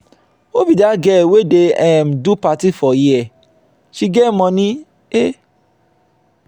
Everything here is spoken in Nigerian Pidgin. who be dat girl wey dey um do party for here? she get money um.